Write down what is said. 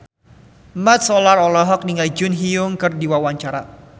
Mat Solar olohok ningali Jun Ji Hyun keur diwawancara